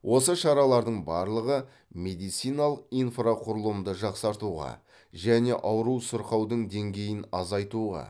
осы шаралардың барлығы медициналық инфрақұрылымды жақсартуға және ауру сырқаудың деңгейін азайтуға